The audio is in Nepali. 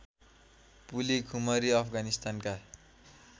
पुली खुमरी अफगानिस्तानका